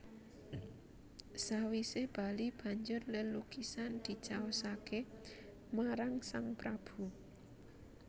Sawisé bali banjur lelukisan dicaosaké marang sang Prabu